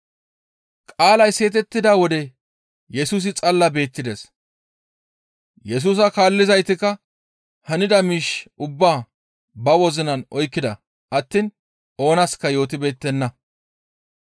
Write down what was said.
Qaalay seetettida wode Yesusi xalla beettides. Yesusa kaallizaytikka hanida miish ubbaa ba wozinan oykkida attiin oonaska yootibeettenna.